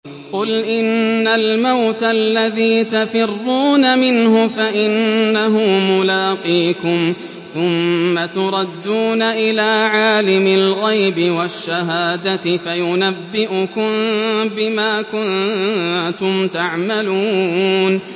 قُلْ إِنَّ الْمَوْتَ الَّذِي تَفِرُّونَ مِنْهُ فَإِنَّهُ مُلَاقِيكُمْ ۖ ثُمَّ تُرَدُّونَ إِلَىٰ عَالِمِ الْغَيْبِ وَالشَّهَادَةِ فَيُنَبِّئُكُم بِمَا كُنتُمْ تَعْمَلُونَ